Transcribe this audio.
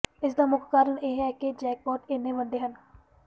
ਇਸਦਾ ਮੁੱਖ ਕਾਰਨ ਇਹ ਹੈ ਕਿ ਜੈਕਪਾਟ ਇੰਨੇ ਵੱਡੇ ਹਨ